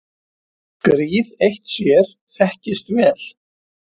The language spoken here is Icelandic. Gríð eitt sér þekkist vel.